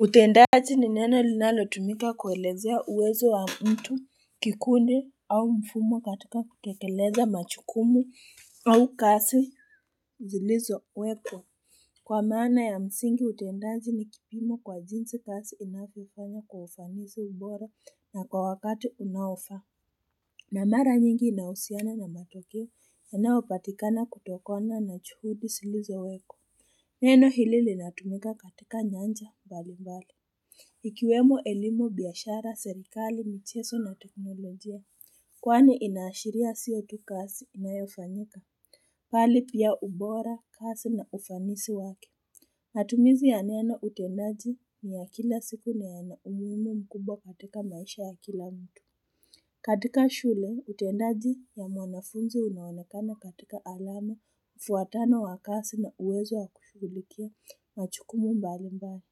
Utendaji ni neno linalo tumika kuelezea uwezo wa mtu kikundi au mfumo katika kutekeleza machukumu au kasi zilizo wekwa. Kwa maana ya msingi utendaji ni kipimo kwa jinsi kazi inavyofanywa kwa ufanisi, ubora na kwa wakati unaofaa. Namara nyingi inahusiana na matokeo yanayopatikana kutokona na juhudi zilizowekwa. Neno hili linatumika katika nyanja mbalimbali. Ikiwemo elimu biashara serikali michezo na teknolojia kwani inaashiria sio tu kazi inayofanyika bali pia ubora, kazi na ufanisi wake matumizi ya neno utendaji ni ya kila siku na ya na umuhimu mkumbwa katika maisha ya kila mtu katika shule utendaji ya mwanafunzi unaonakana katika alama mfuatano wa kasi na uwezo ya kushughulikia majukumu mbalimbali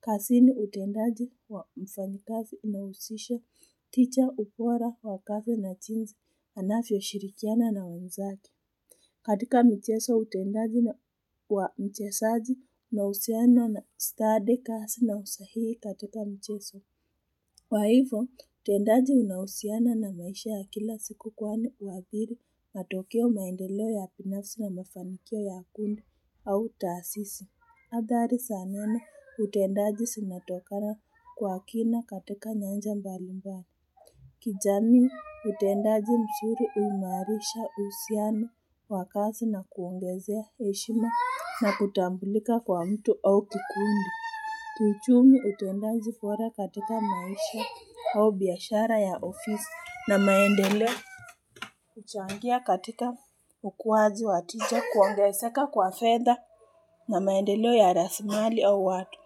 kazini utendaji wa mfanyikazi unahusisha ubora wa kazi na jinsi anavyoshirikiana na wenzake. Katika mchezo utendaji wa mchezaji unahusiana na study kazi na usahii katika mchezo. Kwa hivyo, utendaji unahusiana na maisha ya kila siku kwani huadhiri matokeo, maendeleo ya binafsi na mafanikio ya kundi au tasisi. Athari za neno utendaji zinatokana kwa kina katika nyanja mbalimbali. Kijamii utendaji mzuri huimarisha uhusiano wakazi na kuongezea heshima na kutambulika kwa mtu au kikundi. Kiuchumi utendaji bora katika maisha au biashara ya ofisi na maendeleo. Kuchangia katika ukuwaji wateja kuongezeka kwa fedha. Na maendeleo ya rasilimali au watu.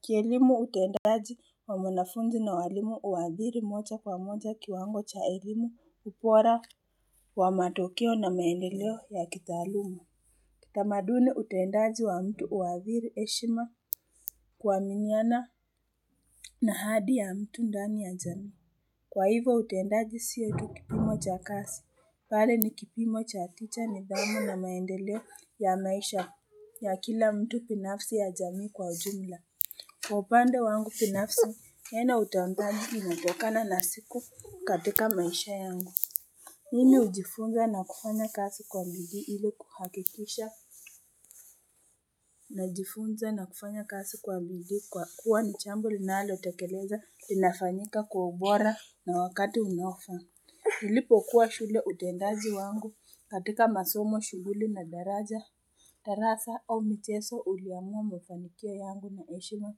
Kielimu utendaji wa mwanafunzi na walimu huathiri moja kwa moja kiwango cha elimu, ubora wa matokeo na maendeleo ya kitaaluma. Utamaduni, utendaji wa mtu huathiri heshima kuaminiana na hadi ya mtu ndani ya jamii. Kwa hivyo utendaji sio tu kipimo cha kazi, bali ni kipimo cha nidhamu na maendeleo ya maisha ya kila mtu binafsi ya jamii kwa ujumla. Kwa upande wangu binafsi, yenautangaji hutokana na siku katika maisha yangu. Hili hujifunza na kufanya kazi kwa bidii ili kuhakikisha. Najifunza na kufanya kazi kwa bidii kwa kuwa ni jambo linalotekeleza linafanyika kwa ubora na wakati unaofaa. Nilipo kuwa shule utendaji wangu katika masomo shughuli na darasa au mchezo uliamua mafanikio yangu na heshima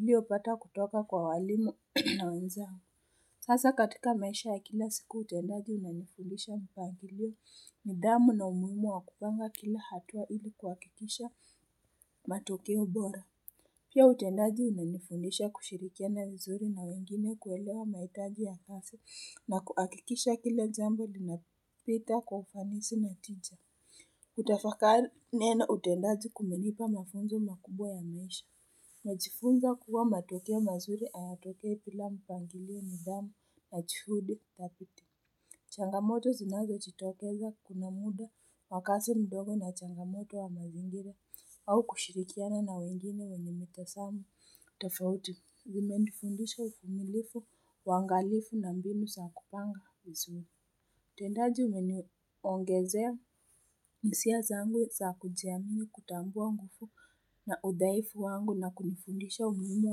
uliopata kutoka kwa walimu na wenzangu. Sasa katika maisha ya kila siku utendaji unanifundisha mpangilio, nidhamu na umuhimu wa kupanga kila hatua ili kuhakikisha matokeo bora. Pia utendaji unanifundisha kushirikiana vizuri na wengine kuelewa mahitaji ya kazi na kuhakikisha kila jambo linapita kwa ufanisi na tita. Kutafakari neno utendaji kumenipa mafunzo makubwa ya maisha. Nimejifunza kuwa matokeo mazuri hayatokei bila mpangilio nidhamu, na juhudi thabiti Changamoto zinazojitokeza kuna muda makazi madogo na changamoto wa mazingira au kushirikiana na wengine wenye mitazamo tofauti, imenifundisha uvumilivu, uangalivu na mbinu za kupanga vizuri utendaji umeniongezea hisia zangu za kujiamini, kutambua nguvu na udhaifu wangu na kunifundisha umuhimu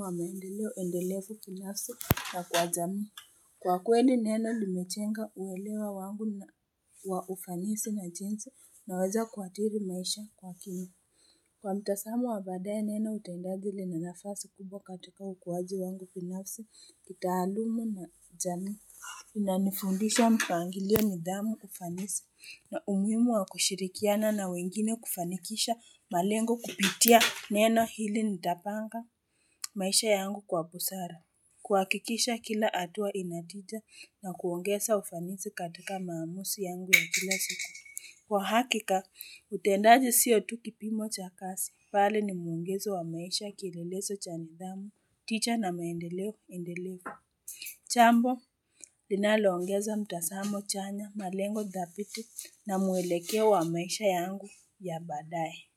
wa maendeleo endelevu binafsi wa kwa jamii Kwa kweli neno limejenga uelewa wangu kwa ufanisi na jinsi inaweza kuathiri maisha kwa kimya Kwa mtazamo wa baadaye neno utendaji lina nafasi kubwa katika ukuaji wangu binafsi kitaaluma na jamii. Inifundisha mpangilio nidhamu, ufanisi na umuhimu wa kushirikiana na wengine kufanikisha malengo kupitia neno hili nitapanga maisha yangu kwa busara. Kuhakikisha kila hatua inatita na kuongeza ufanisi katika maamuzi yangu wa kila siku. Kwa hakika, utendaji siyo tukipimo cha kazi. Bali ni muongezo wa maisha kilelezo cha nidhamu, ticha na maendeleo endelevu. Jambo, linaloongeza mtazamo chanya, malengo thabiti na muelekeo wa maisha yangu ya baadaye.